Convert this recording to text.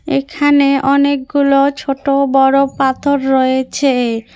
এখানে অনেকগুলো ছোট বড় পাথর রয়েছে।